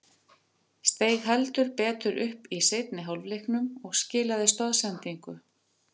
Steig heldur betur upp í seinni hálfleiknum og skilaði stoðsendingu.